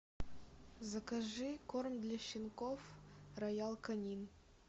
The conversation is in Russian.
закажи корм для щенков роял канин